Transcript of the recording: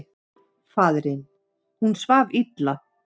Faðirinn: Hún svaf illa.